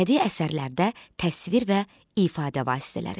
Bədii əsərlərdə təsvir və ifadə vasitələri.